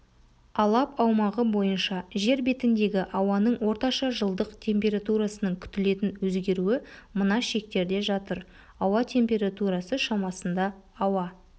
алап аумағы бойынша жер бетіндегі ауаның орташа жылдық температурасының күтілетін өзгеруі мына шектерде жатыр ауа темтературасы шамасында ауа